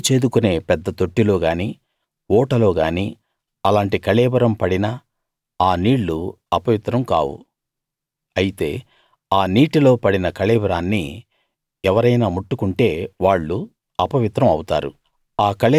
నీళ్ళు చేదుకునే పెద్ద తొట్టిలో గానీ ఊటలో గానీ అలాంటి కళేబరం పడినా ఆ నీళ్ళు అపవిత్రం కావు అయితే ఆ నీటిలో పడిన కళేబరాన్ని ఎవరైనా ముట్టుకుంటే వాళ్ళు అపవిత్రం అవుతారు